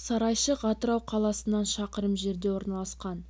сарайшық атырау қаласынан шақырым жерде орналасқан